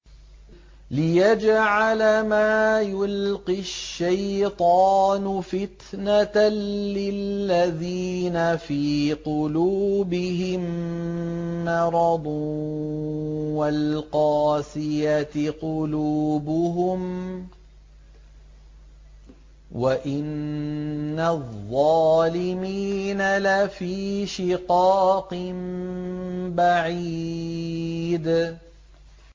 لِّيَجْعَلَ مَا يُلْقِي الشَّيْطَانُ فِتْنَةً لِّلَّذِينَ فِي قُلُوبِهِم مَّرَضٌ وَالْقَاسِيَةِ قُلُوبُهُمْ ۗ وَإِنَّ الظَّالِمِينَ لَفِي شِقَاقٍ بَعِيدٍ